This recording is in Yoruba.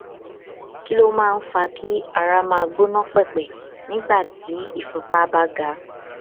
kí ló máa ń fà á kí ara máa gbọn pẹpẹ nígbà tí ìfúnpá bá ga